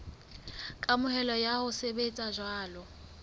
kamohelo ya ho sebetsa jwalo